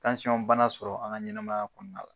Tansyɔn bana sɔrɔ an ka ɲɛnɛmaya kɔnɔna la.